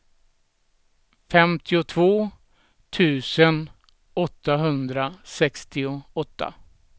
femtiotvå tusen åttahundrasextioåtta